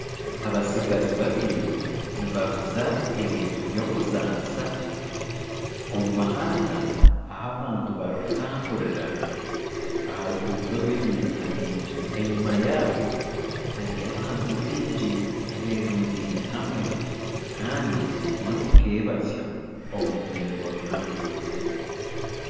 Abatsigazi babiri nibaguza ebintu byokuzanisa omu muhanda ahu abantu barikutamburira aharuguuto rw'ebiruka bingi enyuma yaabo hariyo abantu aberundeine hamwe Kandi nomukebazyo omu rurembo ruhango.